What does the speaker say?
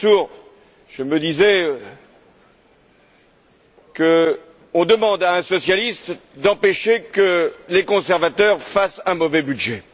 Lamassoure, je me disais qu'on demande à un socialiste d'empêcher que les conservateurs fassent un mauvais budget.